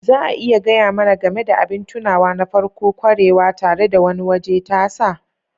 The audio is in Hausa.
Za a iya gaya mana game da abin tunawa na farko-kwarewa tare da wani waje tasa?